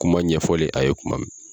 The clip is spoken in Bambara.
Kuma ɲɛfɔlen a ye kuma mɛn.